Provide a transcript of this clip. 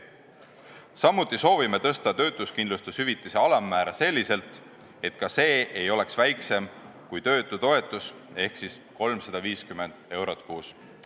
Samuti soovime tõsta töötuskindlustushüvitise alammäära selliselt, et ka see ei oleks väiksem kui töötutoetus ehk 350 eurot kuus.